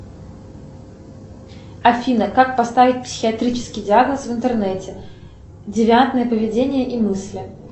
афина как поставить психиатрический диагноз в интернете девиантное поведение и мысли